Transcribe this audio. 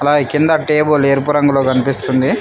పై కింద టేబుల్ ఎరుపు రంగులో కనిపిస్తుంది.